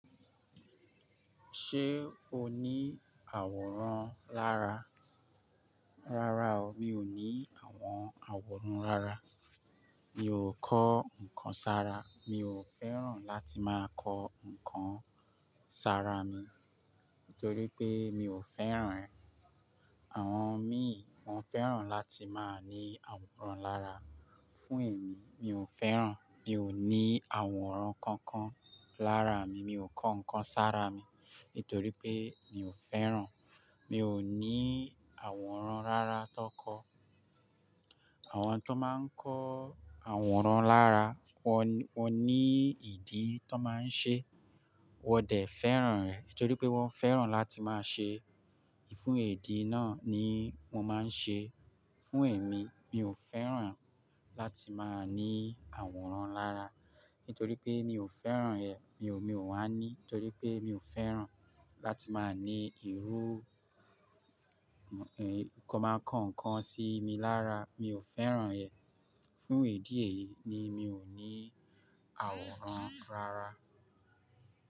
Ṣé o ní àwòrán lára? Rárá o, mi ò ní àwọn àwòrán rárá. Mi ò kọ́ nǹkan sára. Mi ò fẹ́ràn láti máa kọ́ nǹkan sára mi, nítorí pé mi ò fẹ́ràn rẹ̀. Àwọn míì wọ́n fẹ́ràn láti máa ní àwòrán lára. Fún èmi, mi ò fẹ́ràn, mi ò ní àwòrán kankan lára mi. Mi ò kọ́ nǹkan sára mi, nítorí pé mi ò fẹ́ràn. Mi ò ní àwòrán rárá tó kọ. Àwọn tó máa ń kọ́ àwòrán lára, wọ́n, wọ́n ní ìdí tó máa ń ṣe. Wọ́n dẹ̀ fẹ́ràn rẹ̀, nítorí pé wọ́n fẹ́ràn láti máa ṣe. Fún ìdí náà ni wọ́n máa ń ṣe. Fún èmi, mi ò fẹ́ràn láti máa ní àwòrán lára, nítorí pé mi ò fẹ́ràn rẹ̀. Mi ò, mi ò wá ní, nítorí pé mi ò fẹ́ràn láti máa ní ìrú, ẹ, nǹkan kanmákọ sí i mi lára. Mi ò fẹ́ràn rẹ̀. Fún ìdí èyí ni mi ò ní àwòrán rárá.